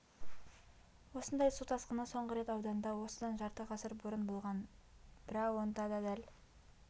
осындай су тасқыны соңғы рет ауданда осыдан жарты ғасыр бұрын болған біра онда да дәл